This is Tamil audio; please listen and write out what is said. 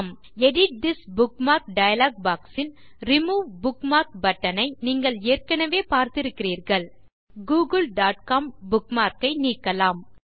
ஆம் edit this bookmark dialog box ல் ரிமூவ் புக்மார்க் பட்டன் ஐ நீங்கள் ஏற்கனவே பார்த்து இருக்கிறீர்கள் wwwgooglecom புக்மார்க் ஐ நீக்கலாம்